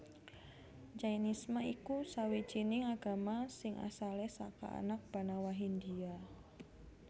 Jainisme iku sawijining agama sing asalé saka anak banawa Hindia